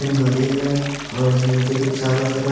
एक नदी है और इस नदी के चारो तरफ--